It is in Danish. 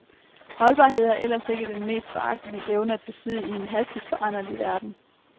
Holdbarhed er ellers ikke den mest foragtelige evne at besidde i en hastigt foranderlig verden.